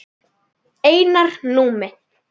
Einar Númi.